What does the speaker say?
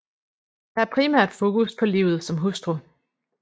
Der er primært fokus på livet som hustru